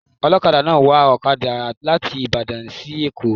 Ọlọkada náà wa ọkada láti Ìbàdàn sí èkó